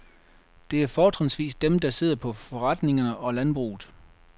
Det er fortrinsvis dem, der sidder på forretningerne og landbruget.